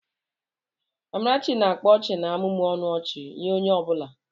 Amarachi na-akpa ọchị na-amụmụ ọnụ ọchị nye onye ọ bụla.